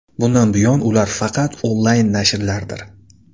Bundan buyon ular faqat onlayn nashrlardir.